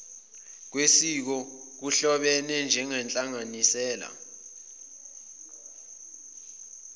kwesiko kuhlobene nenhlanganisela